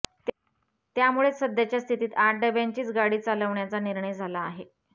त्यामुळेच सध्याच्या स्थितीत आठ डब्यांचीच गाडी चालवण्याचा निर्णय झाला आहे